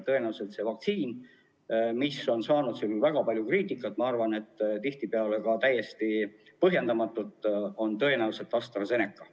Tõenäoliselt saan vaktsiini, mis on seni saanud väga palju kriitikat, ma arvan, et tihtipeale ka täiesti põhjendamatut – see on AstraZeneca.